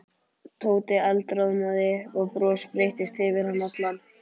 Tóti eldroðnaði og bros breiddist yfir hann allan.